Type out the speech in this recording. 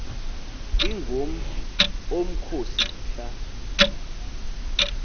ingom omkhosi mhla